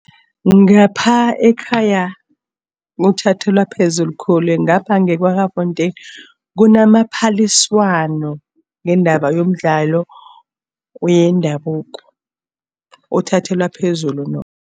Ngapha ekhaya kuthathelwa phezulu khulu. Ngapha nge-Kwaggafontein kunamaphaliswano ngendaba yomdlalo wendabuko, uthathelwa phezulu nokho